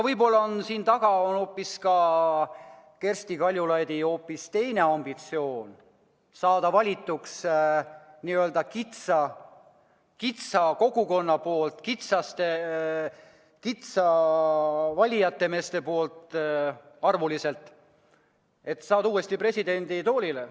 Võib-olla on siin taga hoopis Kersti Kaljulaidi ambitsioon saada valituks väikese kogukonna poolt, arvuliselt väikese valijameeste kogu poolt, et saada uuesti presidenditoolile.